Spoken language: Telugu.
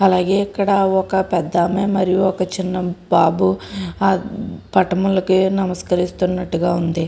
అలాగే ఇక్కడ ఒక పెద్ద ఆమె మరియు చిన్న బాబు ఆ పటములకు నమస్కరిస్తున్నట్టు వుంది.